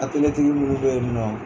Atɛliyetigi munu bɛ yen nɔ.